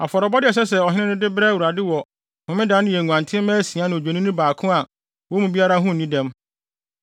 Afɔrebɔde a ɛsɛ sɛ ɔhene no de brɛ Awurade wɔ Homeda no yɛ nguantenmma asia ne Odwennini baako a wɔn mu biara ho nni dɛm.